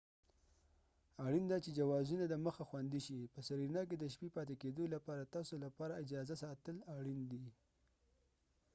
اړین ده چی جوازونه دمخه خوندي شي په سرینا کې د شپې پاتې کیدو لپاره تاسو لپاره اجازه ساتل اړین دی